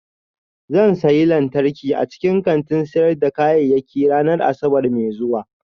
Zan sayi lantarki a cikin kantin sayar da kayayyaki ranar Asabar mai zuwa